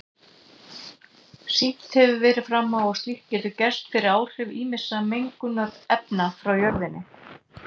Sýnt hefur verið fram á að slíkt getur gerst fyrir áhrif ýmissa mengunarefna frá jörðinni.